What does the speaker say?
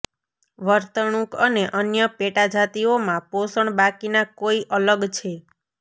વર્તણૂક અને અન્ય પેટાજાતિઓમાં પોષણ બાકીના કોઈ અલગ છે